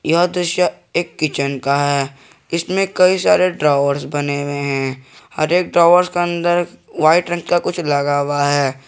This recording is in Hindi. यह दृश्य एक किचन का है इसमें कई सारे ड्रॉवर्स बने हुए हैं हर एक ड्रॉवर्स के अंदर वाइट रंग का कुछ लगा हुआ है।